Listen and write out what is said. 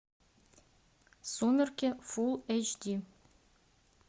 сумерки фулл эйч ди